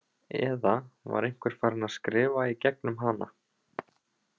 Eða var einhver farin að skrifa í gegnum hana?